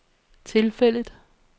tilfældet